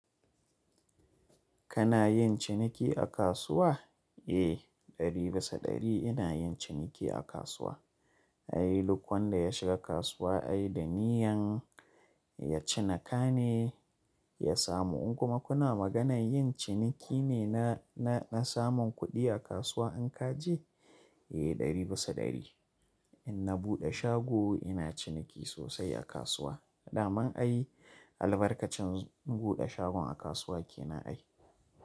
Kana yin ciniki a kasuwa? Eh, ɗari bisa ɗari ina yin ciniki a kasuwa. Ai, duk wanda ya shiga kasuwa ai da niyyan ya cinika ne ya samu. In kuma kuna maganar yin ciniki ne na, na, na samun kuɗi a kasuwa in ka je? Eh, ɗari bisa ɗari. In na buɗe shago ina ciniki sosai a kasuwa. Da man ai albarkacin buɗe shagon a kasuwa ke na ai.